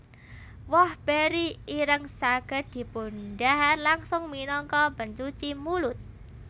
Woh beri ireng saged dipundhahar langsung minangka pencuci mulut